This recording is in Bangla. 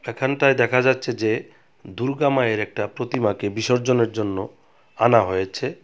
এখানটায় দেখা যাচ্ছে যে দুর্গা মায়ের একটা প্রতিমাকে বিসর্জনের জন্য আনা হয়েছে.